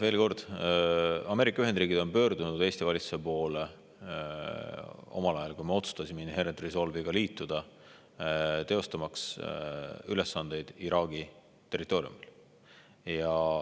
Veel kord, Ameerika Ühendriigid pöördusid omal ajal Eesti valitsuse poole ja me otsustasime Inherent Resolve'iga liituda, teostamaks ülesandeid Iraagi territooriumil.